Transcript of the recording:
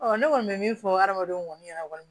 ne kɔni bɛ min fɔ hadamadenw kɔni y'a kɔni